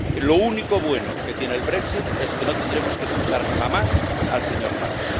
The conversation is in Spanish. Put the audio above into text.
Lo único bueno que tiene el brexit es que no tendremos que escuchar jamás al señor Farage.